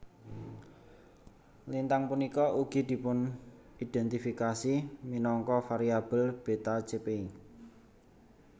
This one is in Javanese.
Lintang punika ugi dipunindhèntifikasi minangka variabel Beta Chepei